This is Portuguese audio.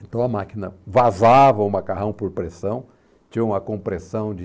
Então a máquina vazava o macarrão por pressão, tinha uma compressão de...